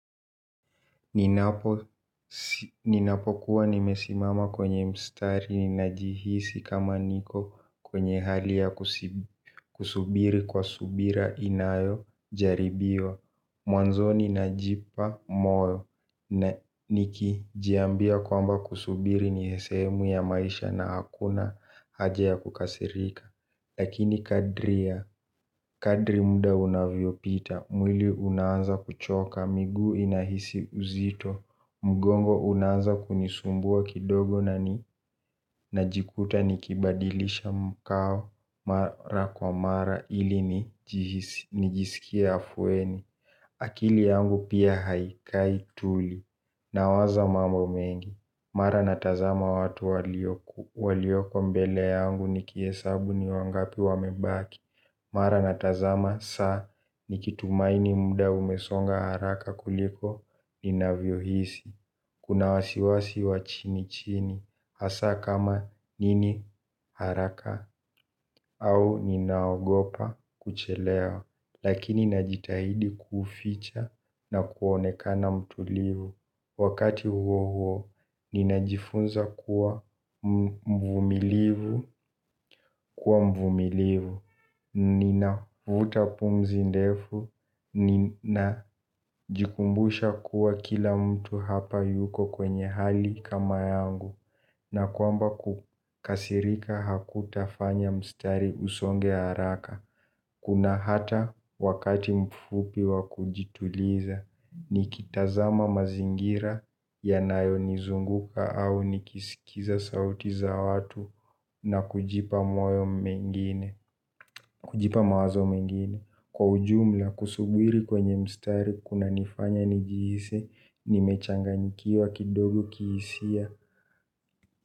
Ninapokuwa nimesimama kwenye mstari ninajihisi kama niko kwenye hali ya kusubiri kwa subira inayojaribiwa. Mwanzo ninajipa moyo niki jiambia kwamba kusubiri ni sehemu ya maisha na hakuna haja ya kukasirika. Lakini kadri ya, kadri muda unavyo pita, mwili unaanza kuchoka, miguu inahisi uzito, mgongo unaanza kunisumbua kidogo na ni, najikuta nikibadilisha mkao mara kwa mara ili nijisikie afueni. Akili yangu pia haikai tuli na waza mambo mengi. Mara natazama watu walioko mbele yangu nikiesabu ni wangapi wamebaki. Mara natazama saa nikitumaini muda umesonga haraka kuliko ninavyohisi. Kuna wasiwasi wa chini chini hasa kama nini haraka au ninaogopa kuchelewa. Lakini najitahidi kuficha na kuonekana mtulivu. Wakati huo huo, ninajifunza kuwa mvumilivu kuwa mvumilivu. Ninavuta pumzi ndefu, ninajikumbusha kuwa kila mtu hapa yuko kwenye hali kama yangu. Na kwamba kukasirika hakutafanya mstari usonge haraka. Kuna hata wakati mfupi wa kujituliza, nikitazama mazingira ya nayo nizunguka au nikisikiza sauti za watu na kujipa mawazo mengine. Kwa ujumla, kusubiri kwenye mstari, kuna nifanya nijihisi, nimechanganyikiwa kidogo kihisia.